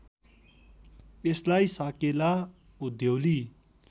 यसलाई साकेला उधौली